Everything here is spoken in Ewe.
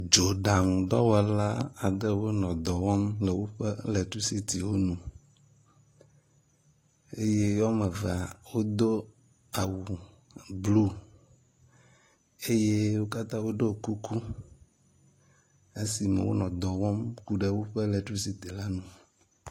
Dzoɖaŋu dɔwɔla aɖewo le dɔ wɔm tso woƒe letricitywo ŋu eye woame eve wodo awu blu eye wo katã wodo kuku esime wonɔ dɔwɔm ku ɖe woƒe lectricity ŋu.